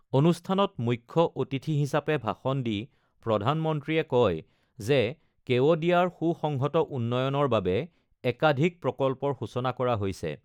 অনুষ্ঠানত মুখ্য অতিথি হিচাপে ভাষণ দি প্ৰধানমন্ত্ৰীয়ে কয় যে কেৱডিয়াৰ সুসংহত উন্নয়নৰ বাবে একাধিক প্ৰকল্পৰ সূচনা কৰা হৈছে।